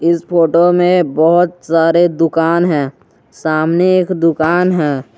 इस फोटो में बहुत सारे दुकान है सामने एक दुकान है।